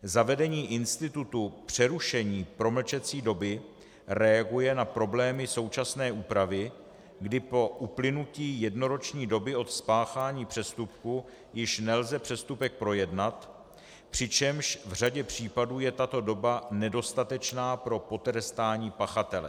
Zavedení institutu přerušení promlčecí doby reaguje na problémy současné úpravy, kdy po uplynutí jednoroční doby od spáchání přestupku již nelze přestupek projednat, přičemž v řadě případů je tato doba nedostatečná pro potrestání pachatele.